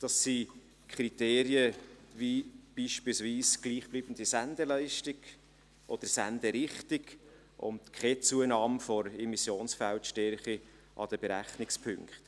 dies sind Kriterien wie beispielsweise gleichbleibende Sendeleistung oder Senderichtung und keine Zunahme der Immissionsfeldstärke an den Berechnungspunkten.